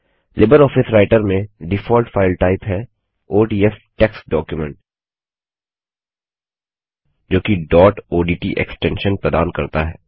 Libre office writer में default file type है ODF text document जोकि डॉट ओडीटी एक्सटेंशन प्रदान करता है